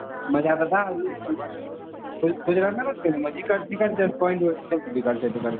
गुजरात मध्ये नाही गेलो म्हणजे कांही point वरती गेलो होतो.